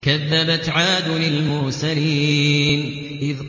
كَذَّبَتْ عَادٌ الْمُرْسَلِينَ